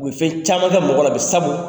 U bɛ fɛn caman kƐ mɔgɔ la bi sabu,